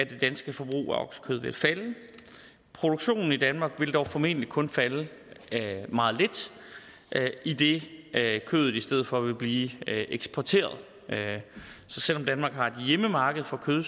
det danske forbrug af oksekød vil falde produktionen i danmark vil dog formentlig kun falde meget lidt idet kødet i stedet for vil blive eksporteret så selv om danmark har et hjemmemarked for kød